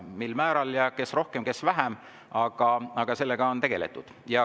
Mil määral ja kes rohkem, kes vähem, on iseasi, aga sellega on tegeletud.